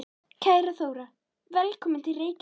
Kæra Þóra. Velkomin til Reykjavíkur.